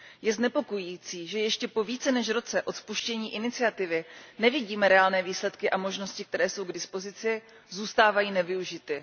Je znepokojující, že ještě po více než roce od spuštění iniciativy nevidíme reálné výsledky a možnosti, které jsou k dispozici, zůstávají nevyužity.